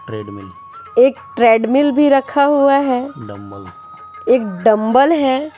एक ट्रेडमिल भी रखा हुआ है एक डंबल है।